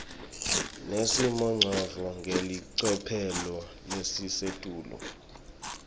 nesimongcondvo ngelicophelo lelisetulu